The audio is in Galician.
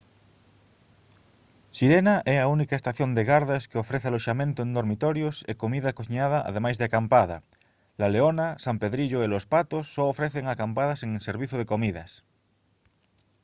sirena é a única estación de gardas que ofrece aloxamento en dormitorios e comida cociñada ademais de acampada la leona san pedrillo e los patos só ofrecen acampada sen servizo de comidas